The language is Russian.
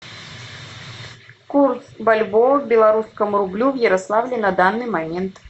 курс бальбоа к белорусскому рублю в ярославле на данный момент